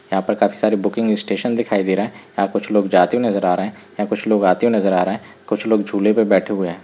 यहाँ पे काफी सारी बुकिंग स्टेशन दिखाई दे रहे हैं यहाँ पे कुछ लोग जाते हुए नजर आ रहे हैं यहाँ पे कुछ लोग आते हुए नजर आ रहे हैं कुछ लोग झूले पे बैठे हुए हैं।